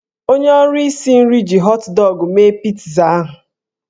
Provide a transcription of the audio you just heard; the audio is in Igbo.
Onye ọrụ isi nri ji họt dọgụ mee pitza ahụ.